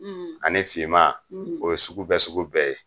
ani finman, , o ye sugu bɛɛ sugu bɛɛ ye